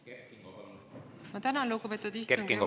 Kert Kingo, palun!